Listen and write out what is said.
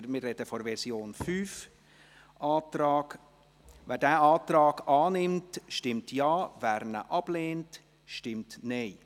wir sprechen von der Version 5 –, annimmt, stimmt Ja, wer ihn ablehnt, stimmt Nein.